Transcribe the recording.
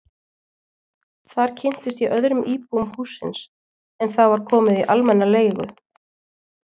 Þar kynntist ég öðrum íbúum hússins en það var komið í almenna leigu.